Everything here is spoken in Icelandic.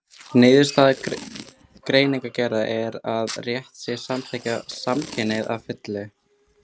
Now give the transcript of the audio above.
Niðurstaða greinargerðarinnar er að rétt sé að samþykkja samkynhneigð að fullu.